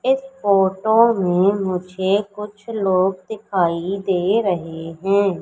इस फोटो में मुझे कुछ लोग दिखाई दे रहे है।